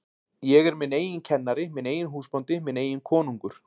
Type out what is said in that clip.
Ég er minn eigin kennari, minn eigin húsbóndi, minn eigin konungur.